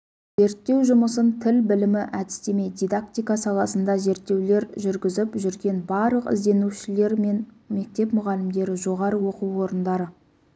зерттеу жұмысын тіл білімі әдістеме дидактика саласында зерттеулер жүргізіп жүрген барлық ізденушілер мен мектеп мұғалімдері жоғары оқу орындары